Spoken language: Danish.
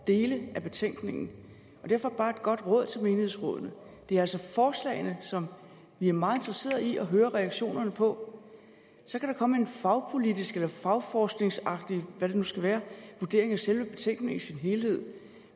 dele af betænkningen derfor bare et godt råd til menighedsrådene det er altså forslagene som vi er meget interesseret i at høre reaktionerne på så kan der komme en fagpolitisk eller fagforskningsagtig hvad det nu skal være vurdering af selve betænkningen i sin helhed